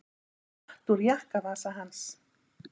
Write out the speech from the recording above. Hún datt úr jakkavasa hans.